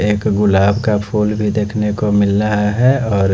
एक गुलाब का फूल भी देखने को मिल रहा है और--